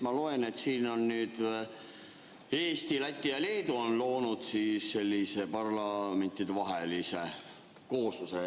Ma loen siit, et Eesti, Läti ja Leedu on loonud sellise parlamentidevahelise koosluse.